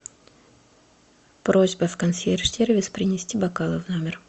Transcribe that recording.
просьба в консьерж сервис принести бокалы в номер